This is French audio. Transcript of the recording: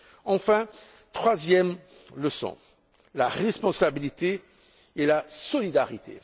Enfin, troisième leçon, la responsabilité et la solidarité.